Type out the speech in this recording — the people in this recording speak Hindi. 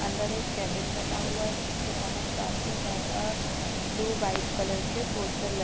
अंदर एक केबिन बना हुआ है जिसके बाहर काफी ज्यादा ब्लू वाइट कलर के पोस्टर लग--